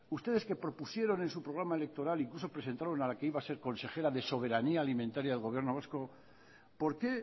ustedes que propusieron en su programa electoral incluso presentaron a la que iba a ser consejera de soberanía alimentaria del gobierno vasco por qué